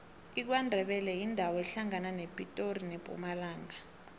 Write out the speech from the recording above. ikwandebele yindawo ehlangana nepitori nempumalanga